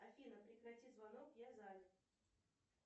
афина прекрати звонок я занят